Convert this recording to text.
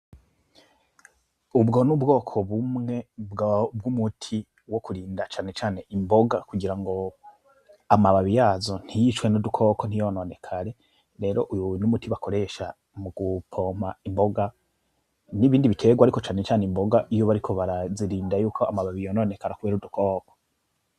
Ubwo ni ubwoko bumwe bw'umuti wo kurinda cane cane imboga kugirango amababi yazo ntiyicwe n'udukoko, ntiyononekare . Rero uyu ni umuti bakoresha mu gupompa imboga n'ibindi biterwa, ariko na cane cane imboga iyo bariko barazirinda yuko amababi yononekare kubera udukoko.